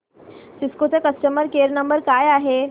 Cisco चा customer care number काय आहे